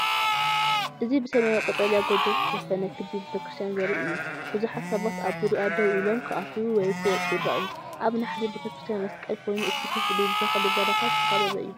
እዚ ብሰማያዊ ቀጠልያ ጎቦ ዝተሸፈነ ክቢ ቤተክርስትያን ዘርኢ እዩ። ብዙሓት ሰባት ኣብ ዙርያኣ ደው ኢሎም፡ ክኣትዉ ወይ ክወጹ ይረኣዩ። ኣብ ናሕሲ ቤተክርስትያን መስቀል ኮይኑ እቲ ክፍሊ ብተኽሊ በረኻ ዝተኸበበ እዩ።